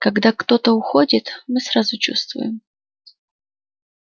когда кто-то уходит мы сразу чувствуем